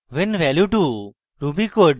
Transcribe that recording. when value 2 ruby code